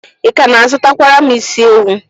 Ị ka na-azụkwara m isi ewu?